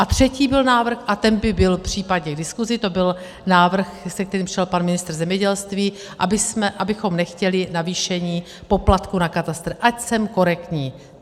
A třetí byl návrh, a ten by byl případně k diskusi, to byl návrh, se kterým přišel pan ministr zemědělství, abychom nechtěli navýšení poplatku na katastr, ať jsem korektní.